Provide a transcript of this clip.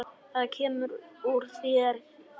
Það kemur þér ekki við.